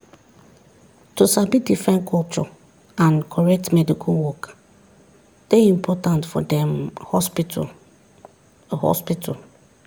to sabi different culture and correct medical work dey important for dem hospital. hospital.